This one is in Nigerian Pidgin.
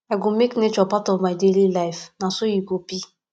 i go make nature part of my daily life na so e go be